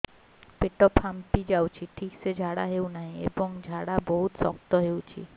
ପେଟ ଫାମ୍ପି ଯାଉଛି ଠିକ ସେ ଝାଡା ହେଉନାହିଁ ଏବଂ ଝାଡା ବହୁତ ଶକ୍ତ ହେଉଛି